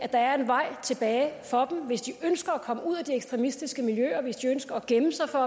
at der er en vej tilbage for dem hvis de ønsker at komme ud af de ekstremistiske miljøer hvis de ønsker at gemme sig for